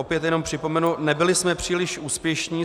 Opět jenom připomenu - nebyli jsme příliš úspěšní.